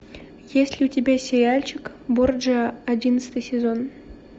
есть ли у тебя сериальчик борджиа одиннадцатый сезон